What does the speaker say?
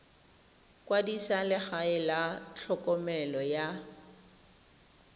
kwadisa legae la tlhokomelo ya